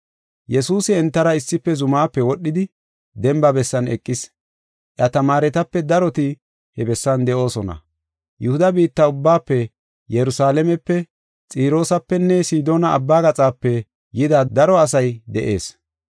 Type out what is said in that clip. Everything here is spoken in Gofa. Yesuusi entara issife zumaape wodhidi demba bessan eqis. Iya tamaaretape daroti he bessan de7oosona. Yihuda biitta ubbaafe Yerusalaamepe, Xiroosapenne Sidoona abba gaxape yida daro asay de7ees.